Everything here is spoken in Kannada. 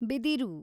ಬಿದಿರು